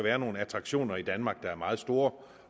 er nogle attraktioner i danmark der er meget store